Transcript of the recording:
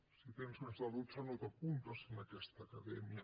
si en té més de dotze no t’apuntes en aquesta acadèmia